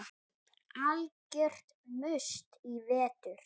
Algjört must í vetur.